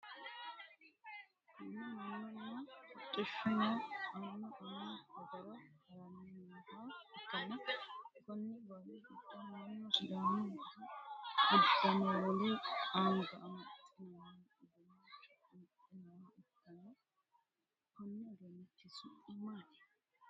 Kunni manunna hodhishuno Annu Annu hajara haranni nooha ikanna konni baalu gido Manu sidaamu budu udanonna wole anga amaxinnanni uduunicho amaxe nooha ikanna kunni uduunichi su'mi maati?